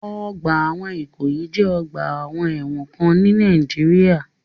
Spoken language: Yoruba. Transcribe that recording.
Ọgbà ẹ̀wọ̀n Ìkòyí jẹ́ ọ̀gba ẹ̀wọ̀n kan ni Nìàjíríà.